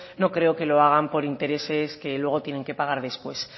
no creo que lo hagan por intereses que luego tienen que pagar después